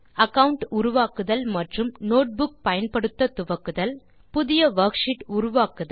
account உருவாக்குதல் மற்றும் notebook பயன்படுத்த துவக்குதல் புதிய வர்க்ஷீட் உருவாக்குதல்